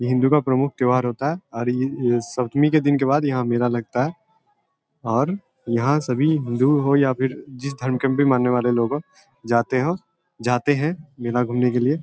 ये हिन्दू का प्रमुख त्योहार होता है और ये सप्तमी के दिन के बाद यहाँ मेला लगता है और यहाँ सभी हिन्दू हो या फिर जिस धर्म के भी मानने वाले लोग हो जाते है जाते हैं मेला घूमने के लिए।